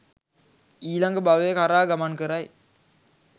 ඊළඟ භවය කරා ගමන් කරයි.